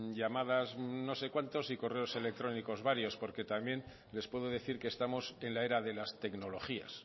llamadas no sé cuántas y correos electrónicos varios porque también les puedo decir que estamos en la era de las tecnologías